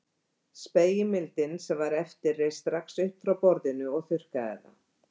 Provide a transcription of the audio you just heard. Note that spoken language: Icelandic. Spegilmyndin sem var eftir reis strax upp frá borðinu og þurrkaði það.